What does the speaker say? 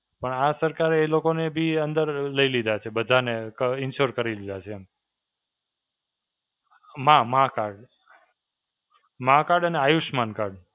પણ આ સરકારે એ લોકોને બી અંદર લઈ લીધા છે. બધાને ક insurance કરી લીધા છે, એમ. માઁ માઁ card. માઁ card અને આયુષ્માન card.